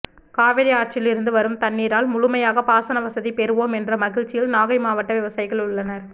காவிரி ஆற்றிலிருந்து வரும் தண்ணீரால் முழுமையாக பாசனவசதி பெறுவோம் என்ற மகிழ்ச்சியில் நாகை மாவட்ட விவசாயிகள் உள்ளனர்